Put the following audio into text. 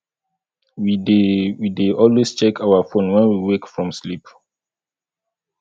we dey we dey always check our phone when we wake from sleep